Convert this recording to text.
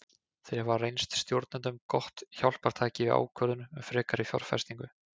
Þeir hafa reynst stjórnendum gott hjálpartæki við ákvörðun um frekari fjárfestingu.